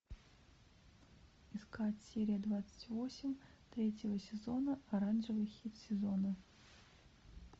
искать серия двадцать восемь третьего сезона оранжевый хит сезона